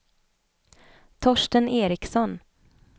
Torsten Ericson